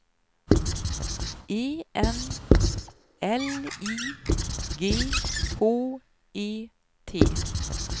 E N L I G H E T